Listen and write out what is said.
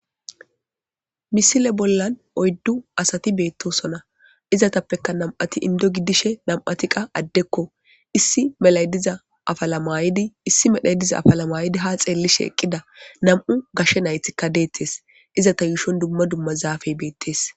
Misile bollan oyddu asati beettosona izatappeka nam'ati indo giddishe nam'ati qa addekko issi melay diza afalamayidi issi medhay diza afalamayidi ha xeellishe eqqida nam'u gashe naythikka deettes iza ta yuushon dumma dumma zaafey beettes.